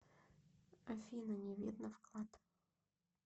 афина не видно вклад